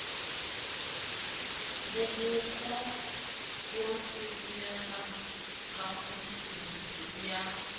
borokgo bo tshelelang kamotseng ya